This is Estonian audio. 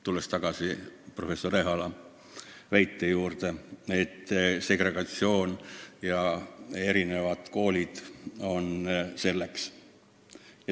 Tulles tagasi professor Ehala ettekande juurde, väidan ma, et selleks probleemiks on segregatsioon ja erinevad koolid.